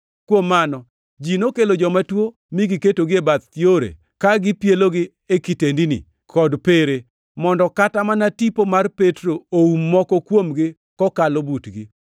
Kuom mano, ji nokelo joma tuo mi giketogi e bath yore ka gipielogi e kitendini kod pere, mondo kata mana tipo mar Petro oum moko kuomgi kokalo butgi.